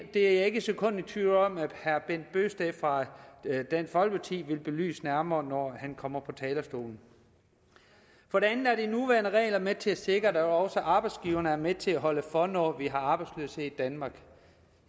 er ikke et sekund i tvivl om at herre bent bøgsted fra dansk folkeparti vil belyse det nærmere når han kommer på talerstolen de nuværende regler med til at sikre at også arbejdsgiverne er med til at holde for når vi har arbejdsløshed i danmark